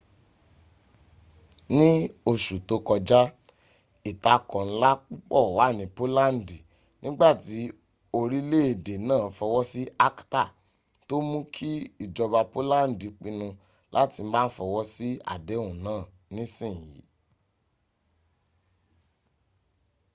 ni osu to koja itako nla pupo wa ni polandi nigbati orileede naa fowo si acta to muu ki ijoba polandi pinu lati ma fowo si adehun naa nisiyin